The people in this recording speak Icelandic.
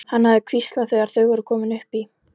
hafði hann hvíslað þegar þau voru komin upp í.